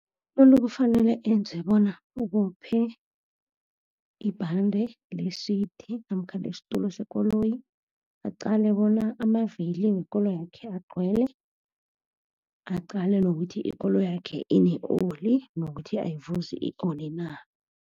Umuntu kufanele enze bona ubophe ibhande le-seat namkha lesitulo sekoloyi, aqale bona amavili wekoloyakhe agcwele, aqale nokuthi ikoloyakhe ine-oli nokuthi ayivuzi i-oli na.